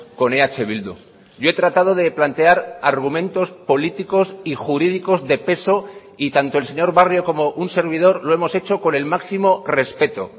con eh bildu yo he tratado de plantear argumentos políticos y jurídicos de peso y tanto el señor barrio como un servidor lo hemos hecho con el máximo respeto